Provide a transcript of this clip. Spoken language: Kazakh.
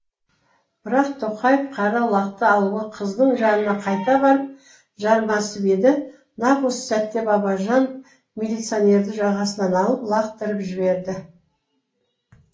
бірақ тоқаев қара лақты алуға қыздың жанына қайта барып жармасып еді нақ осы сәтте бабажанов милиционерді жағасынан алып лақтырып жіберді